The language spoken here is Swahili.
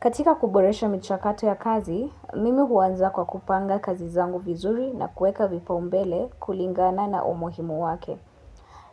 Katika kuboresha michakato ya kazi, mimi huanza kwa kupanga kazi zangu vizuri na kueka vipaumbele kulingana na umuhimu wake.